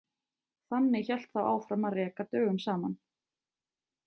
Þannig hélt þá áfram að reka dögum saman.